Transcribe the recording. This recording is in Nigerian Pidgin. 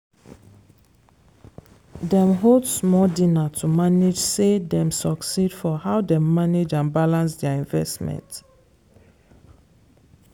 dem hold small dinner to manage say dem succeed for how dem manage and balance their investment.